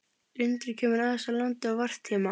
Lundinn kemur aðeins á land á varptíma.